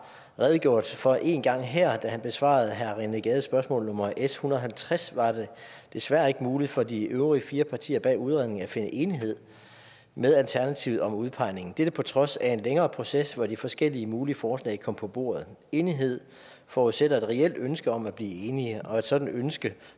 redegjort for en gang her da han besvarede herre rené gades spørgsmål nummer s en hundrede og halvtreds var det desværre ikke muligt for de øvrige fire partier bag udredningen at finde enighed med alternativet om udpegningen dette på trods af en længere proces hvor de forskellige mulige forslag kom på bordet enighed forudsætter et reelt ønske om at blive enige og et sådant ønske